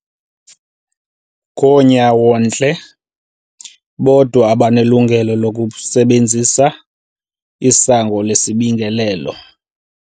Ngoonyawontle bodwa abanelungelo lokusebenzisa isango lesibingelelo.